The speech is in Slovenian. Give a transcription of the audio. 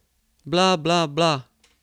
Bla, bla, bla ...